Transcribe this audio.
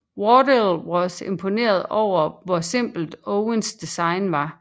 Wardell var imponeret over hvor simpelt Owens design var